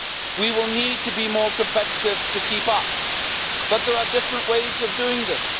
We will need to be more competitive to keep up, but there are different ways of doing this.